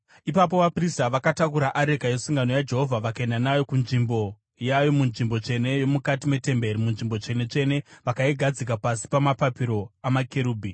Ipapo vaprista vakatakura areka yesungano yaJehovha vakaenda nayo kunzvimbo yayo munzvimbo tsvene yomukati metemberi, muNzvimbo Tsvene-tsvene, vakaigadzika pasi pamapapiro amakerubhi.